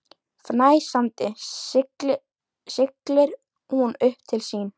Fnæsandi siglir hún upp til sín.